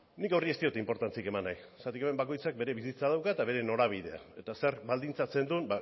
nik horri ez diot inportantziarik eman nahi zergatik hemen bakoitzak bere bizitza dauka eta bere norabidea eta zer baldintzatzen duen